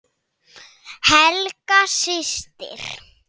Helga systir.